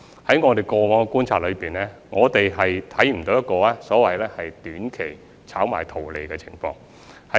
在我們過往的觀察中，我們看不到有所謂短期炒賣圖利的情況。